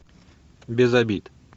без обид